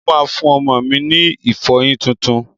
Mo máa fún ọmọ mi ní ìfọyín tuntun.